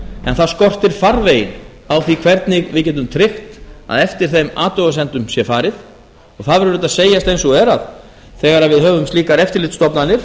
en það skortir farveginn á því hvernig við getum tryggt að eftir þeim athugasemdum sé farið og það verður auðvitað að segjast eins og er að þegar við höfum slíkar eftirlitsstofnanir